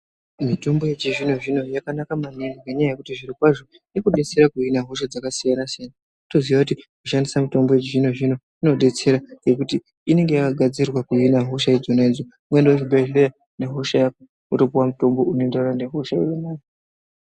Mitombo yechizvino-zvino yakanaka maningi ngenyaya yekuti zvirokwazvo inodetsera kuhina hosha dzakasiyana-siyana. Kutoziya kuti kushandisa mitombo yechizvino-zvino kunodetsera ngekuti inenge yakagadzirwa kuhina hosha idzona idzo ukaenda kuchibhehlera nehosha yako wotopuwa mutombo unoenderana nehosha youinayo.